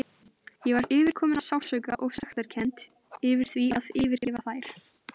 Ég var yfirkomin af sársauka og sektarkennd yfir því að yfirgefa þær.